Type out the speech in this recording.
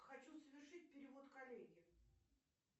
хочу совершить перевод коллеге